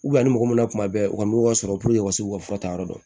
a ni mɔgɔ min bɛ kuma bɛ u ka nɔgɔ sɔrɔ u ka se k'u ka fura ta yɔrɔ dɔn